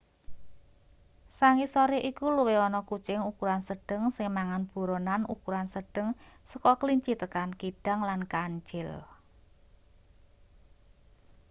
sangisore iku luwih ana kucing ukuran sedheng sing mangan buronan ukuran sedheng saka klinci tekan kidang lan kancil